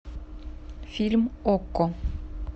фильм окко